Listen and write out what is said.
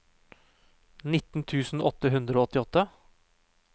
nitten tusen åtte hundre og åttiåtte